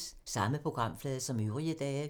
Samme programflade som øvrige dage